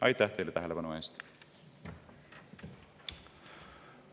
Aitäh teile tähelepanu eest!